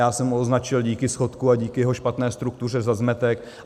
Já jsem ho označil díky schodku a díky jeho špatné struktuře za zmetek.